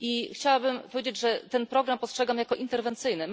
Chciałabym powiedzieć, że program ten postrzegam jako interwencyjny.